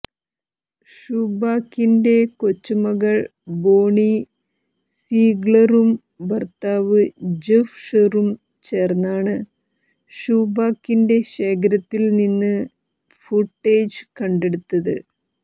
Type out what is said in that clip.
ഷൂബാക്കിന്റെ കൊച്ചുമകൾ ബോണി സീഗ്ലറും ഭർത്താവ് ജെഫ് ഷെറും ചേർന്നാണ് ഷൂബാക്കിന്റെ ശേഖരത്തില് നിന്ന് ഈ ഫൂട്ടേജ് കണ്ടെടുത്തത്